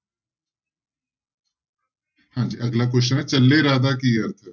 ਹਾਂਜੀ ਅਗਲਾ question ਹੈ ਚੱਲੇ ਰਾਹ ਦਾ ਕੀ ਅਰਥ ਹੈ?